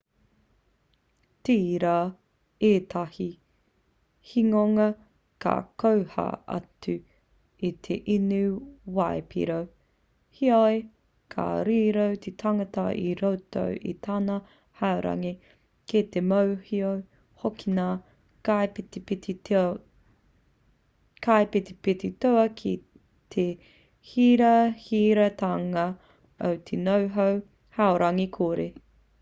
tērā ētahi hingonga ka koha atu i te inu waipiro heoi ka riro te tangata i roto i tana haurangi kei te mōhio hoki ngā kaipetipeti toa ki te hirahiratanga o te noho haurangi kore